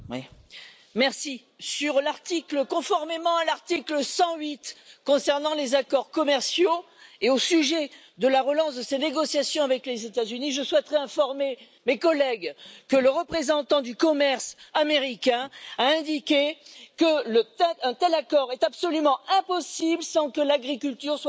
Monsieur le Président, conformément à l'article 108 concernant les accords commerciaux et au sujet de la relance de ces négociations avec les États Unis, je souhaiterais informer mes collègues que le représentant du commerce américain a indiqué qu'un tel accord est absolument impossible sans que l'agriculture soit incluse dans les négociations.